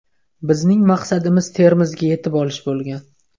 Bizning maqsadimiz Termizga yetib olish bo‘lgan.